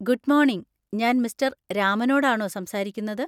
Good morning, ഞാൻ മിസ്റ്റർ രാമനോടാണോ സംസാരിക്കുന്നത്?